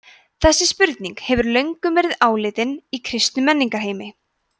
þessi spurning hefur löngum verið áleitin í kristnum menningarheimi